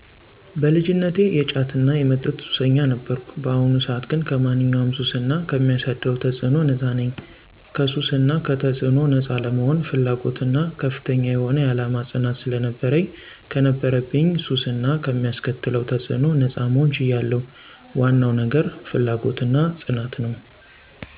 በልጅነቴ የጫትና የመጠጥ ሱሰኛ ነበርኩ። በአሁኑ ሰዓት ግን ከማንኛውም ሱስ እና ከሚያሳደረው ተፅዕኖ ነጻ ነኝ። ከሱስ እና ከተጽዕኖው ነጻ ለመሆን ፍላጎትና ከፍተኛ የሆነ የዓላማ ፅናት ስለነበረኝ ከነበረብኝ ሱስ እና ከሚያስከትለው ተፅዕኖ ነጻ መሆን ችያለው። ዋነው ነገር ፍላጎትና ፅናት ነው።